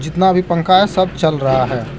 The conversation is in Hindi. जितना भी पंखा है सब चल रहा है।